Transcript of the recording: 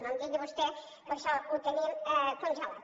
no em digui vostè que això ho tenim congelat